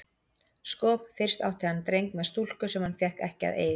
Sko, fyrst átti hann dreng með stúlku sem hann fékk ekki að eiga.